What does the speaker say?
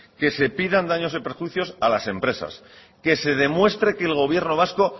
que se pidan daños y perjuicios a las empresas que se demuestre que el gobierno vasco